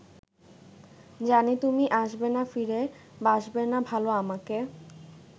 জানি তুমি আসবেনা ফিরে বাসবেনা ভালো আমাকে